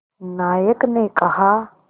नायक ने कहा